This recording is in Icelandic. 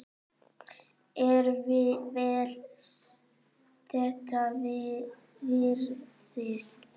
Er vel þess virði.